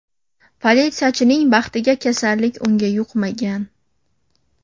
Politsiyachining baxtiga kasallik unga yuqmagan.